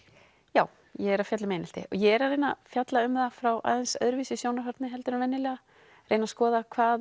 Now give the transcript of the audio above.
já ég er að fjalla um einelti og ég er að reyna að fjalla um það frá aðeins öðru sjónarhorni heldur en venjulega reyna að skoða hvað